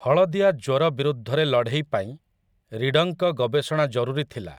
ହଳଦିଆ ଜ୍ୱର ବିରୁଦ୍ଧରେ ଲଢ଼େଇ ପାଇଁ ରୀଡଙ୍କ ଗବେଷଣା ଜରୁରୀ ଥିଲା ।